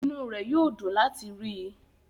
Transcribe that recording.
Inú rẹ̀ yóò dùn láti rí i.